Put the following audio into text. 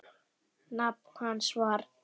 Nafn hans var